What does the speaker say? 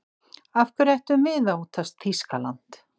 Af hverju ættum við að óttast Þýskaland?